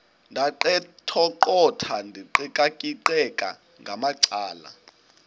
ndaqetheqotha ndiqikaqikeka ngamacala